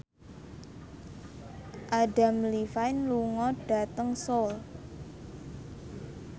Adam Levine lunga dhateng Seoul